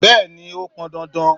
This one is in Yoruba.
Bẹ́ẹ̀ni, ó pọn dandan.